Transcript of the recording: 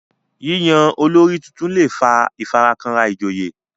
yíyan olórí títún lẹ fà ifarakanra ijoye